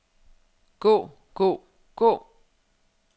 gå gå gå